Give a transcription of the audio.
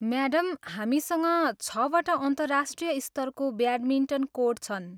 Madam, हामीसँग छवटा अन्तर्राष्ट्रिय स्तरको ब्याटमिन्टन कोर्ट छन्।